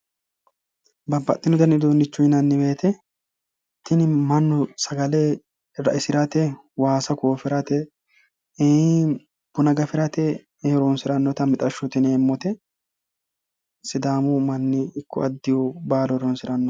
Babbaxxino dani uduunnicho yinanni woyite tini mannu sagale raisirate, waasa koofirate, buna gafirate horoonsi'rannote mixashshote yineemmote. Sidaamu manni ikko addihu baalu horoonsirannote.